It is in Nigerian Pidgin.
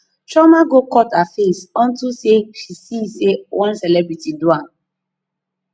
chioma go cut her face unto say she see say one celebrity do am